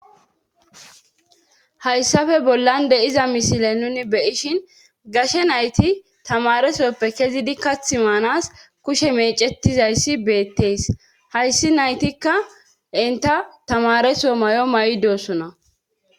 Hayssafe bollan de iza misile nuni beyishin gashe nayti tamaresoppe kezidi kath maanas kushe mecetizayssi beettees hayssi naytikka inta tamareso may'o may'dossona.